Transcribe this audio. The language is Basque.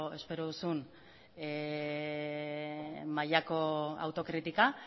espero duzun mailako autokritika